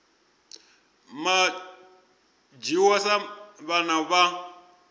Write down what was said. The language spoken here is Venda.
vha dzhiwa sa vhana vha